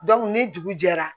ni dugu jɛra